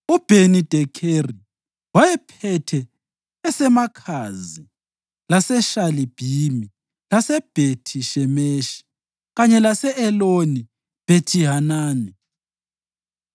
uBheni-Dekheri wayephethe eseMakhazi, leseShalibhimi, leseBhethi-Shemeshi kanye lese-Eloni-Bethihanani;